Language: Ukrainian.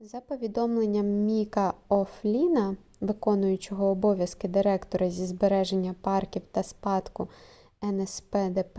за повідомленням міка о'флінна в.о. директора зі збереження парків та спадку нспдп